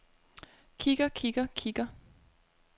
kigger kigger kigger